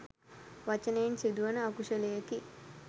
වචනයෙන් සිදුවන අකුශලයකි.